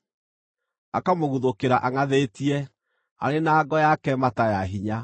akamũguthũkĩra angʼathĩtie, arĩ na ngo yake mata ya hinya.